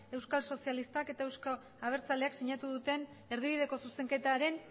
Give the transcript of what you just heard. euskal sozialistak eta euzko abertzaleak sinatu duten erdibideko zuzenketaren